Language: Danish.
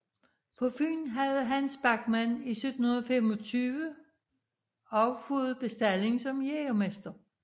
På Fyn havde Hans Bachmann 1725 også fået bestalling som jægermester